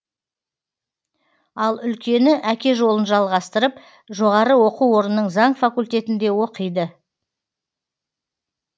ал үлкені әке жолын жалғастырып жоғары оқу орнының заң факультетінде оқиды